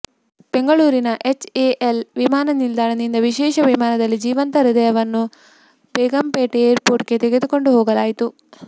ಬೆಂಗಳೂರಿನ ಎಚ್ಎಎಲ್ ವಿಮಾನ ನಿಲ್ದಾಣದಿಂದ ವಿಶೇಷ ವಿಮಾನದಲ್ಲಿ ಜೀವಂತ ಹೃದಯವನ್ನು ಬೇಗಂಪೇಟ್ ಏರ್ಪೋರ್ಟ್ಗೆ ತೆಗೆದುಕೊಂಡು ಹೋಗಲಾಯಿತು